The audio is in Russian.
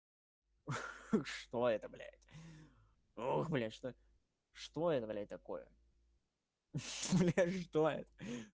ха-ха что это блять ух бля что что это блять такое что это